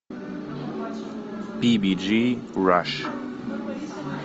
би би джи раш